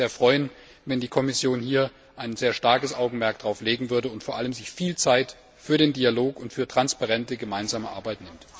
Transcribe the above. Ich würde mich sehr freuen, wenn die Kommission hier ein sehr starkes Augenmerk darauf legen würde, und sich vor allem viel Zeit für den Dialog und für transparente, gemeinsame Arbeit nimmt.